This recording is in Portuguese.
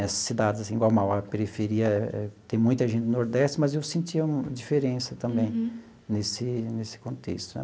Essas cidades assim, igual a Mauá, a periferia tem muita gente do nordeste, mas eu sentia uma diferença também nesse nesse contexto.